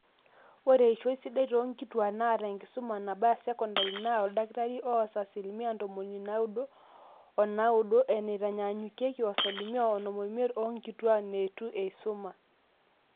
ore eishoi sidai toonkituak naata enkisuma nabaya secondary naa oldakitari oas asilimia ntomoni naaudo onaaudo eneitanyanyuki o asilimia onom oimiet oonkituak neitu eisuma